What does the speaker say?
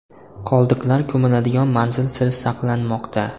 Qoldiqlar ko‘miladigan manzil sir saqlanmoqda.